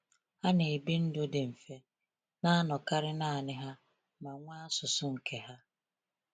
Ha na-ebi ndụ dị mfe, na-anọkarị naanị ha, ma nwee asụsụ nke ha.